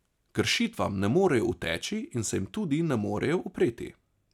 Kršitvam ne morejo uteči in se jim tudi ne morejo upreti.